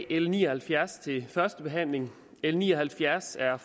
l ni og halvfjerds til førstebehandling l ni og halvfjerds er